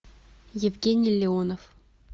евгений леонов